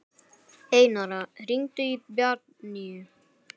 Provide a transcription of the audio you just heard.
Einara, hringdu í Bjarnnýju.